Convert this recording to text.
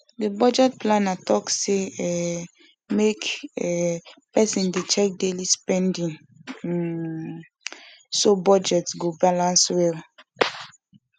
the budget planner talk say um make um person dey check daily spending um so budget go balance well